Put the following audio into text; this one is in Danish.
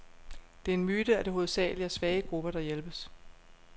Det er en myte, at det hovedsageligt er svage grupper, der hjælpes.